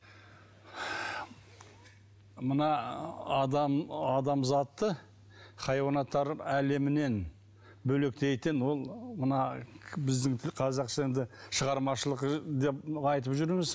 мына ы адамзатты хайуанаттар әлемінен бөлектейтін ол мына біздің тіл қазақша енді шығармашылық деп айтып жүрміз